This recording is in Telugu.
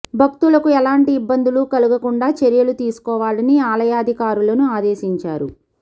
భక్తులకు ఏలాంటి ఇబ్బందులు కలగకుండా చర్యలు తీసుకోవాలని ఆలయాధికా రులను ఆదేశించారు